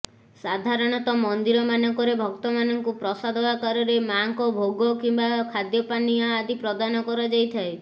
ସାଧାରଣତଃ ମନ୍ଦିରମାନଙ୍କରେ ଭକ୍ତମାନଙ୍କୁ ପ୍ରସାଦ ଆକାରରେ ମାଙ୍କ ଭୋଗ କିମ୍ବା ଖାଦ୍ୟପାନୀୟ ଆଦି ପ୍ରଦାନ କରାଯାଇଥାଏ